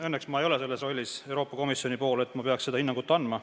Õnneks ma ei ole Euroopa Komisjonis selles rollis, et ma peaks seda hinnangut andma.